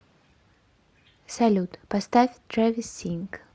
салют поставь трэвис синг